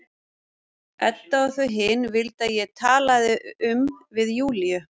Edda og þau hin vildu að ég talaði um við Júlíu.